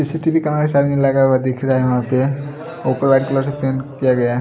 CCTV camera सामने में लगा हुआ दिख रहा है वहां पे ऊपर व्हाइट कलर से पेंट किया गया--